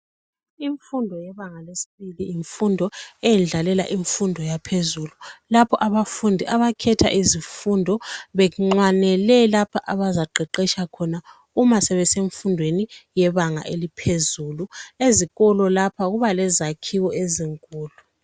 Imfundo yebanga le secondary yimfundo eyendlalela imfundo yaphezulu, lapha abafundi abakhetha izifundo benxwanele lapho abazaqeqetsha khona uma sebesemfundweni yebanga eliphezulu. Ezikolo lapha kuba lezakhiwo ezinkulu.